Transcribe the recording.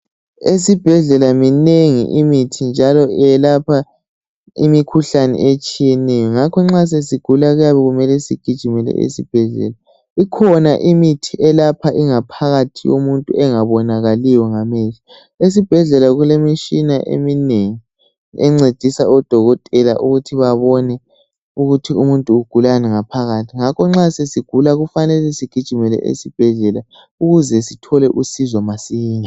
Esibhedlela minengi imithi njalo yelapha imikhuhlane etshiyeneyo ngakho nxa sesigula kuyabe sokumele sigijimele esibhedlela ikhona imithi eyelapha ingaphakathi yomuntu engabonakaliyo ngamehlo. Esibhedlela kulemitshina eminengi encedisa odokotela ukuthi babone ukuthi umuntu ugulani ngaphakathi.